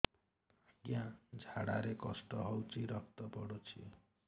ଅଜ୍ଞା ଝାଡା ରେ କଷ୍ଟ ହଉଚି ରକ୍ତ ପଡୁଛି